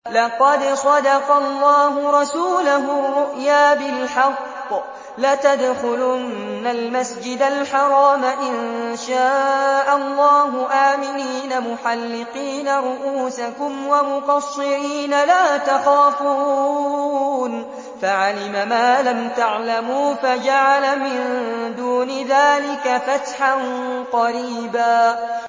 لَّقَدْ صَدَقَ اللَّهُ رَسُولَهُ الرُّؤْيَا بِالْحَقِّ ۖ لَتَدْخُلُنَّ الْمَسْجِدَ الْحَرَامَ إِن شَاءَ اللَّهُ آمِنِينَ مُحَلِّقِينَ رُءُوسَكُمْ وَمُقَصِّرِينَ لَا تَخَافُونَ ۖ فَعَلِمَ مَا لَمْ تَعْلَمُوا فَجَعَلَ مِن دُونِ ذَٰلِكَ فَتْحًا قَرِيبًا